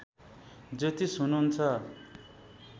ज्योतिष हुनुहुन्छ